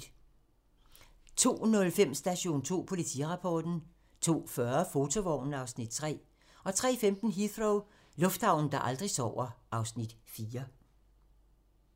02:05: Station 2: Politirapporten 02:40: Fotovognen (Afs. 3) 03:15: Heathrow - lufthavnen, der aldrig sover (Afs. 4)